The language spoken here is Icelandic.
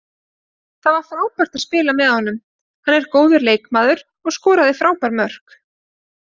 Það var frábært að spila með honum, hann er góður leikmaður og skoraði frábær mörk.